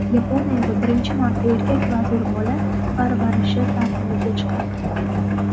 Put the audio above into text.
Yaponiyada birinchi marta erkak vazir bola parvarishi ta’tiliga chiqadi.